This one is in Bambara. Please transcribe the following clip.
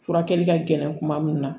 Furakɛli ka gɛlɛn kuma min na